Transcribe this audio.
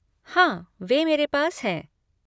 हाँ, वे मेरे पास हैं।